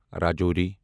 Rajouri